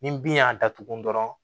Ni bin y'a datugu dɔrɔn